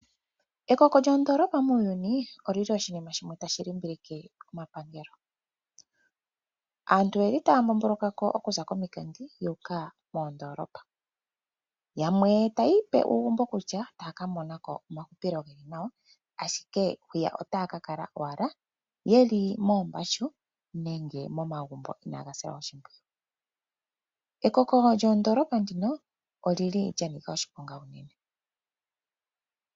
Ekoko lyoondoolopa muuyuni oli li oshinima shimwe tashi limbilike omapangelo. Aantu oyeli taa mbomboloka ko okuza komikunda yu uka moondolopa, yamwe tayi ipe uugumbo kutya taaka mona ko omahupilo geli nawa ashike hwiya otaa kala owala yeli moombashu nenge momagumbo inaaga silwa oshimpwiyu. Ekoko lyoondoolopa ndino oli li lya nika oshiponga unene.